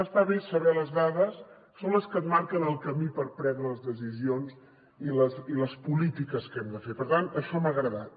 està bé saber les dades són les que et marquen el camí per prendre les decisions i les polítiques que hem de fer per tant això m’ha agradat